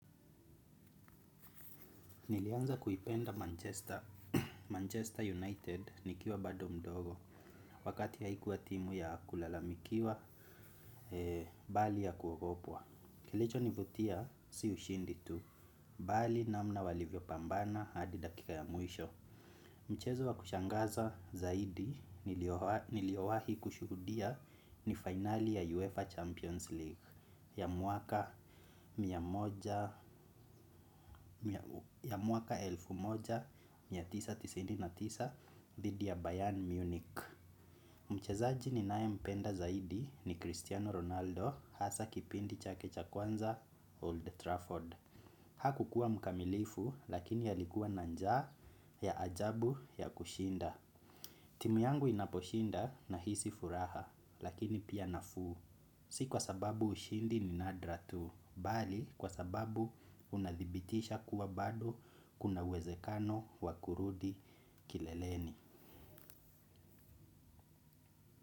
Nilianza kuipenda Manchester manchester United nikiwa bado mdogo. Wakati haikuwa timu ya kulalamikiwa bali ya kuogopwa. Kilicho nivutia si ushindi tu. Bali namna walivyo pambana hadi dakika ya mwisho. Mchezo wa kushangaza zaidi niliowahi kushuhudia ni finali ya UEFA Champions League. Ya mwaka mia moja mia moja mia tisa tisini na tisa dhidi ya Bayern Munich. Mchezaji ninaye mpenda zaidi ni Cristiano Ronaldo hasa kipindi chake cha kwanza Old Trafford. Hakukua mkamilifu lakini alikua na njaa ya ajabu ya kushinda. Timu yangu inaposhinda nahisi furaha lakini pia nafuu. Si kwa sababu ushindi ni nadra tu bali kwa sababu unadhibitisha kuwa bado kuna uwezekano wa kurudi kileleni.